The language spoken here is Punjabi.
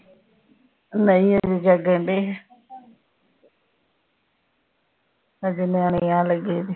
ਨਹੀ ਹਜੇ ਜਾਗਣ ਡੈ ਆ ਹਜੇ ਨਿਆਣੇ ਆਣ ਲਾਗੇ ਜੇ